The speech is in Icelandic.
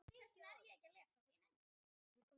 Um þetta hafa verið ólíkar skoðanir.